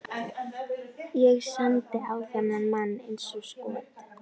Ég sendi á þennan mann eins og skot.